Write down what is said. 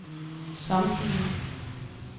samtlige